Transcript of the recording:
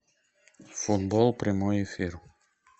футбол прямой эфир